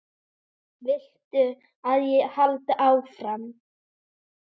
Viltu að ég haldi áfram?